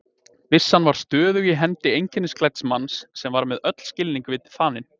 Byssan var stöðug í hendi einkennisklædds manns sem var með öll skilningarvit þanin.